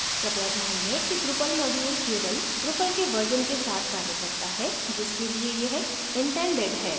कृपया ध्यान दें कि drupal module केवल drupal के version के साथ कार्य करता है जिसके लिए यह intended है